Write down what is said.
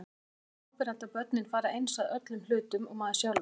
Mér finnst svo áberandi að börnin fara eins að öllum hlutum og maður sjálfur.